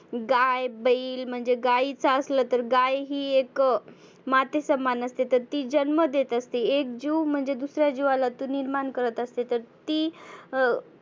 गाय, बैल, म्हणजे गाईच असला तर गाय ही एक माते समान असते तर ती जन्म देत असते. एक जिव म्हणजे दुसऱ्या जिवाला निर्मान करत असते. तर ती